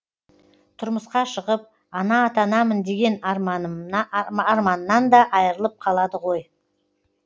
тұрмысқа шығып ана атанамын деген арманынан да айырылып қалады ғой